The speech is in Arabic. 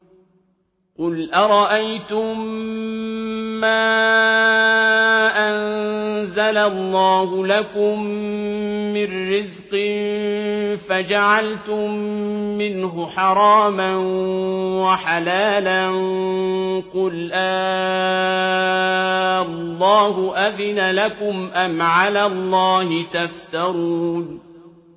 قُلْ أَرَأَيْتُم مَّا أَنزَلَ اللَّهُ لَكُم مِّن رِّزْقٍ فَجَعَلْتُم مِّنْهُ حَرَامًا وَحَلَالًا قُلْ آللَّهُ أَذِنَ لَكُمْ ۖ أَمْ عَلَى اللَّهِ تَفْتَرُونَ